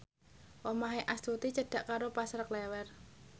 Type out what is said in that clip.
omahe Astuti cedhak karo Pasar Klewer